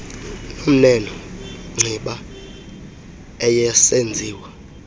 nomneno nciba ayesenziwa